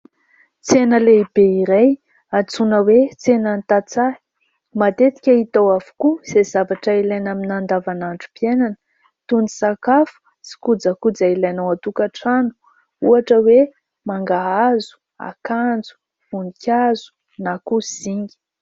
Tsena lehibe iray antsoina hoe tsenan'ny tantsaha. Matetika hita ao avokoa izay zavatra ilaina amina andavanandrom-piainana, toy ny sakafo sy kojakoja ilaina ao an-tokantrano ohatra hoe mangahazo, akanjo, voninkazo na koa zinga.